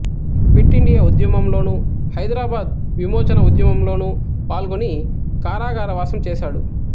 quit India ఉద్యమంలోను హైదరాబాదు విమోచన ఉద్యమంలోను పాల్గొని కారాగారవాసం చేశాడు